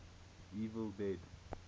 evil dead